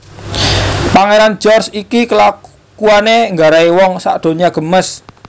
Pangeran George iki kelakuane nggarai wong sak donya gemes